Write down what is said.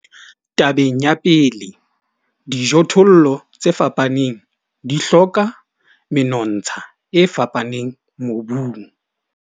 Tabeng ya pele, dijothollo tse fapaneng di hloka menontsha e fapaneng mobung.